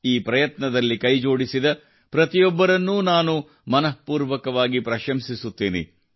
ಈ ಪ್ರಯತ್ನದಲ್ಲಿ ಕೈಜೋಡಿಸಿದ ಪ್ರತಿಯೊಬ್ಬರನ್ನೂ ನಾನು ಮನಃಪೂರ್ವಕವಾಗಿ ಪ್ರಶಂಸಿಸುತ್ತೇನೆ